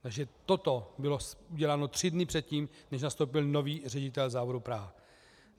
Takže toto bylo uděláno tři dny předtím, než nastoupil nový ředitel závodu Praha.